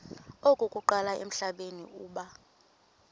okokuqala emhlabeni uba